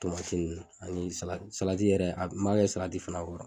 ani sala salati yɛrɛ an b'a kɛ salati fana kɔrɔ